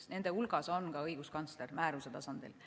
Nende hulgas on ka õiguskantsler, määruse tasandil.